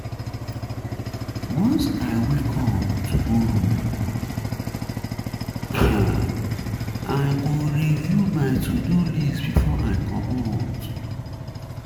Once um I wake up um tomorrow, I um go I um go review my to-do list before I comot.